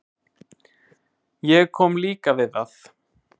Ég kom líka við það.